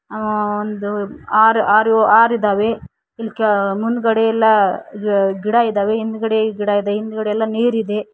ಆ ಒಂದು ಆರ್ ಆರ್ ಆರ್ ಇದಾವೆ ಇಲ್ ಕೇಳ್ ಮುಂದ್ಗಡೆ ಎಲ್ಲಾ ಗಿಡ ಇದಾವೆ ಹಿಂದ್ಗಡೆ ಗಿಡ ಇದೆ ಹಿಂದ್ಗಡೆ ಎಲ್ಲಾ ನೀರ ಇದೆ.